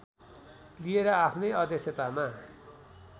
लिएर आफ्नै अध्यक्षतामा